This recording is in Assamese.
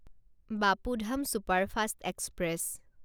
Bapu Dham superfast express